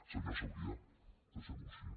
senyor sabrià deixem ho així